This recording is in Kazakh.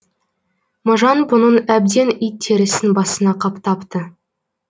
можан бұның әбден ит терісін басына қаптапты